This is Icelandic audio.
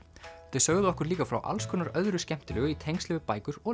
þau sögðu okkur líka frá alls konar öðru skemmtilegu í tengslum við bækur og